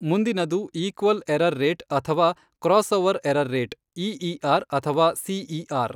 ಮುಂದಿನದು equal error rate ಅಥವಾ crossover error rate EER ಅಥವಾ ಸಿಇಆರ್.